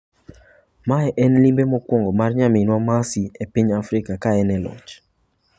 Mae en limbe mokwongo mar nayminwa Mercy e piny Afrika ka en e loch.